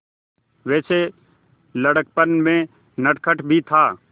वैसे लड़कपन में नटखट भी था